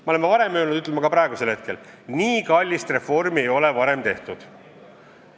Me oleme varem öelnud ja ütleme ka praegu: nii kallist reformi ei ole varem tehtud.